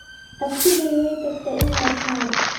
Abtigay way tagtay in yar ka hor